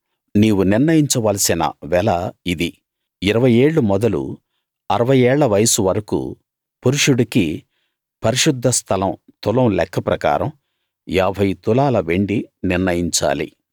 నీవు నిర్ణయించవలసిన వెల ఇది ఇరవై ఏళ్ళు మొదలు అరవై ఏళ్ల వయస్సు వరకూ పురుషుడికి పరిశుద్ధ స్థలం తులం లెక్క ప్రకారం ఏభై తులాల వెండి నిర్ణయించాలి